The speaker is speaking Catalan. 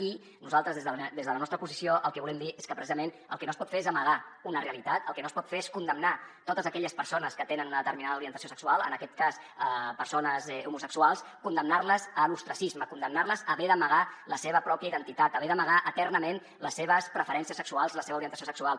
i nosaltres des de des de la nostra posició el que volem dir és que precisament el que no es pot fer és amagar una realitat el que no es pot fer és condemnar totes aquelles persones que tenen una determinada orientació sexual en aquest cas persones homosexuals condemnar les a l’ostracisme condemnar les a haver d’amagar la seva pròpia identitat a haver d’amagar eternament les seves preferències sexuals la seva orientació sexual